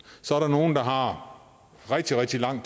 så er der nogle der har rigtig rigtig lang